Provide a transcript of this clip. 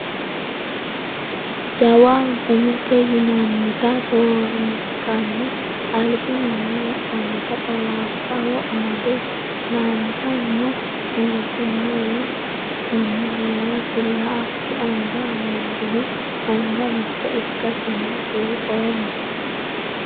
Jawa gumete yinannita roorinkanni albi manni wodhannota xawaabbago amade la"anbi no. Mulesino wolu manni heerasi la ki anganna amandohu anga mitte ikkasenni buuxoommo.